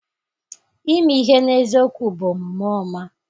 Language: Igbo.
Ime ihe n'eziokwu bụ omume ọma.